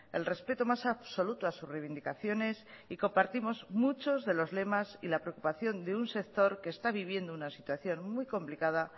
el respeto más absoluto a sus reivindicaciones y compartimos muchos de los lemas y la preocupación de un sector que está viviendo una situación muy complicada